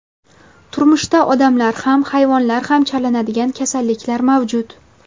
Turmushda odamlar ham, hayvonlar ham chalinadigan kasalliklar mavjud.